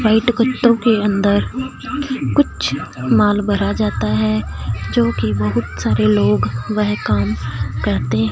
white कुत्तों के अंदर कुछ माल भरा जाता है जो की बहुत सारे लोग वह काम करते--